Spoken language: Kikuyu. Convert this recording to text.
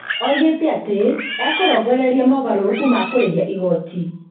Oigĩte atĩ ekũrongoreria moogarũrũku ma kũrĩha igooti